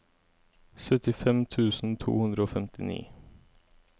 syttifem tusen to hundre og femtini